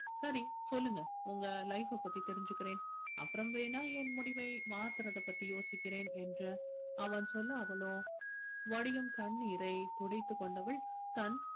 சரி சொல்லுங்க உங்க life அ பத்தி தெரிஞ்சுக்கறேன் அப்புறம் வேணா என் முடிவை மாத்துறதைப் பத்தி யோசிக்கிறேன் என்று அவன் சொன்ன அவளோ வடியும் கண்ணீரைத் துடைத்துக் கொண்டவள் தன்